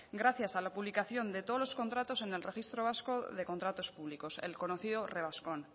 gracias a la publicación de todos los contratos en el registro vasco de contratos públicos el conocido revascon